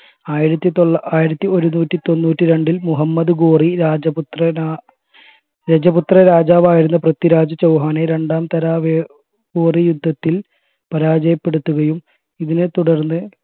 ആയിരത്തി തൊള്ളാ ആയിരത്തി ഒരുന്നൂറ്റി തൊണ്ണൂറ്റി രണ്ടിൽ മുഹമ്മദ് ഘോറി രജപുത്ര രജപുത്ര രാജാവായിരുന്ന പൃഥ്വിരാജ് ചൗഹാനെ രണ്ടാം തരാവോറി യുദ്ധത്തിൽ പരാജയപ്പെടുത്തുകയും ഇതിനെ തുടർന്ന്